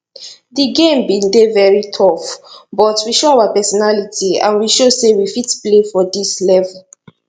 di game bin dey very tough but we show our personality and we show say we fit play for dis level